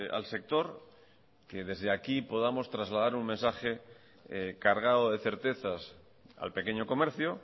al sector que desde aquí podamos trasladar un mensaje cargado de certezas al pequeño comercio